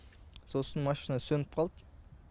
сосын машина сөніп қалды